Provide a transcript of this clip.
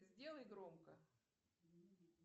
сделай громко